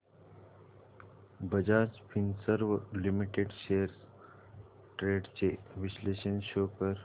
Bajaj Finserv limited shares trends चे विश्लेषण show कर